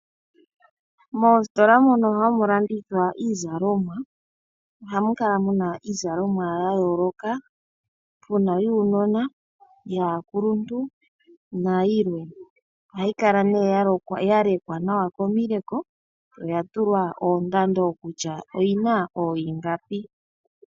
Moostola moka hamu landithwa iizalomwa, ohamu kala muna iizalomwa ya yooloka muna yuunona yaakuluntu na yilwe. Ohayi kala ne ya lekwa nawa komileko, ya tulwa oondando kutya oyina ohiingapi.